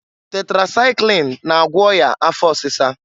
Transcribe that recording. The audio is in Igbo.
Tetresaịklin na-agwọ ọya afọ ọsịsa.